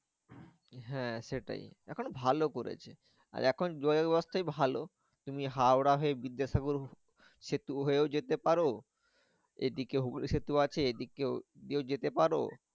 হ্যাঁ সেটাই এখন ভালো করেছে। আর এখন যোগাযোগ ব্যবস্থাই তুমি হাওড়া হয়ে বিদ্যাসাগর সেতু হয়েও যেতে পারো এদিকে হুগলী সেতু আছে এদিকে দিয়েও যেতে পারো।